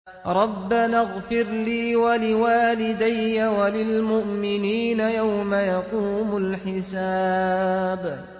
رَبَّنَا اغْفِرْ لِي وَلِوَالِدَيَّ وَلِلْمُؤْمِنِينَ يَوْمَ يَقُومُ الْحِسَابُ